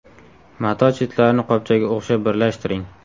Mato chetlarini qopchaga o‘xshab birlashtiring.